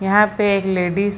यहां पे एक लेडिस --